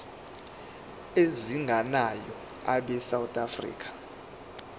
ezingenayo abesouth african